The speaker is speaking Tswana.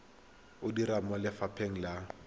o dira mo lefapheng la